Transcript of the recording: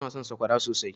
Ina son sakwara sosai.